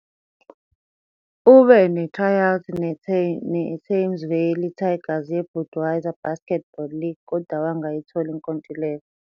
Ube ne-tryout neThames Valley Tigers yeBudweiser Basketball League kodwa wangayithola inkontileka.